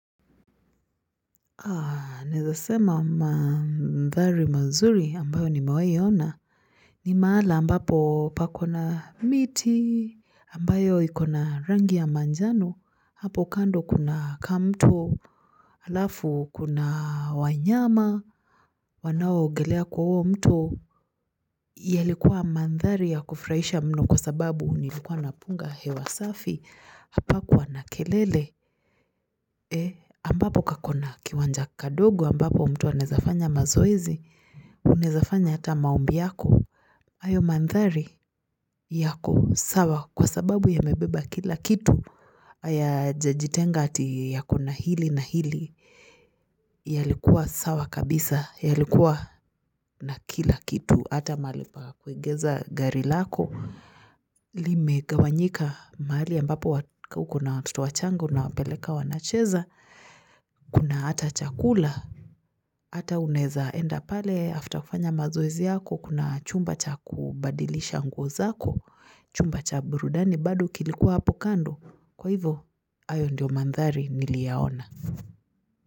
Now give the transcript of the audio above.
Ah naeza sema mandhari mazuri ambayo nimewahi ona ni maala ambapo pako na miti ambayo ikona rangi ya manjano hapo kando kuna kamto alafu kuna wanyama wanaogelea kwa huo mto yalikuwa mandhari ya kufurahisha mno kwa sababu nilikuwa napunga hewa safi hapakuwa na kelele ambapo kakona kiwanja kadogo ambapo mtu anezafanya mazoezi Unezafanya hata maombi yako hayo mandhari yako sawa kwa sababu yamebeba kila kitu Hayajajitenga ati yako na hili na hili yalikuwa sawa kabisa yalikuwa na kila kitu hata mahali pa kuegeza gari lako Limegawanyika mahali ambapo uko na watoto wachanga unawapeleka wanacheza Kuna hata chakula hata unaeza enda pale after kufanya mazoezi yako kuna chumba cha kubadilisha nguo zako Chumba cha burudani bado kilikuwa hapo kando kwa hivyo hayo ndiyo mandhari niliyoona.